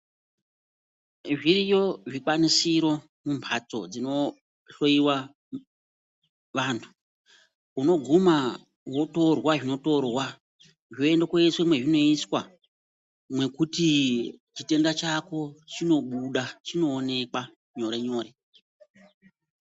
Zviriyo zvikwanisiro mumbatso dzino hloiwa vantu, uno guma, wotorwa zvinotorwa, zvoende koiswa mwezvinoiswa, mwekuti chitenda chako chinobuda, chinoonekwa nyore nyore.